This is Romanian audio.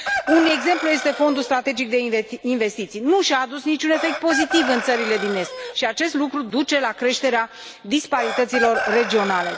Un exemplu este Fondul strategic de investiții nu a adus nici un efect pozitiv în țările din est și acest lucru duce la creșterea disparităților regionale.